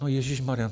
No ježišmarjá.